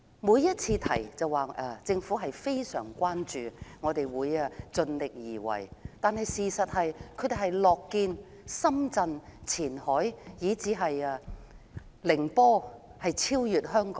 每次有人提及此事，政府都說非常關注，會盡力而為，但事實上他們樂見深圳、前海以至寧波超越香港。